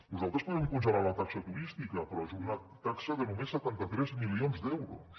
nosaltres podem congelar la taxa turística però és una taxa de només setanta tres milions d’euros